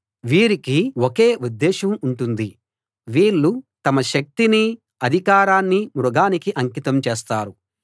వీరికి ఒకే ఉద్దేశం ఉంటుంది వీళ్ళు తమ శక్తినీ అధికారాన్నీ మృగానికి అంకితం చేస్తారు